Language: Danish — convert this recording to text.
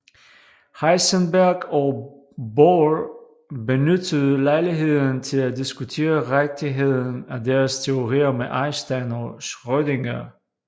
Heisenberg og Bohr benyttede lejligheden til at diskutere rigtigheden af deres teorier med Einstein og Schrödinger